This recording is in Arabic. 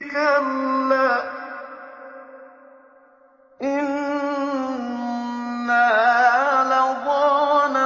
كَلَّا ۖ إِنَّهَا لَظَىٰ